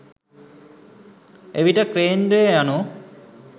එවිට කේන්ද්‍රය යනු